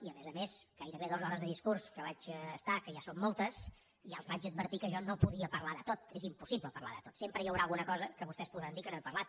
i a més a més amb gairebé dues hores de discurs que vaig estar que ja són moltes ja els vaig advertir que jo no podia parlar de tot és impossible parlar de tot sempre hi haurà alguna cosa de què vostès podran dir que no he parlat